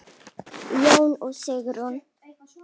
Jón og Sigrún.